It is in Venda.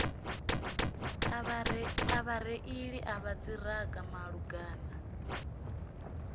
a vhareili vha dziṱhirakha malugana